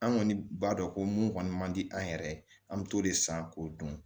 An kɔni b'a dɔn ko mun kɔni man di an yɛrɛ ye an bɛ t'o de san k'o dun